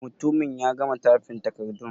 Mutumin ya gama tyfin takardun?